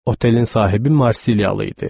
Otelin sahibi Marsilyalı idi.